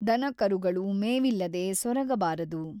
ದನ-ಕರುಗಳು ಮೇವಿಲ್ಲದೇ ಸೊರಗಬಾರದು.